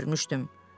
Mən də görmüşdüm.